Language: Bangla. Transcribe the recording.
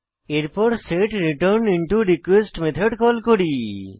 এরপর সেট্রেটারনিন্টরকোয়েস্ট মেথড কল করি